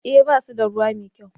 eh ba su da ruwa mai kyau